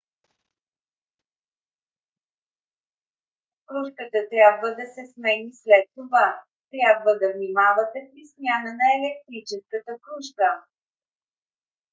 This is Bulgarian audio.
крушката трябва да се смени след това. трябва да внимавате при смяна на електрическата крушка